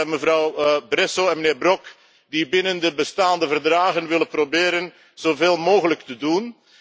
Mevrouw Bresso en de heer Brok die binnen de bestaande verdragen willen proberen zoveel mogelijk te doen.